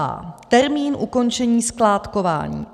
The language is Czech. a) Termín ukončení skládkování.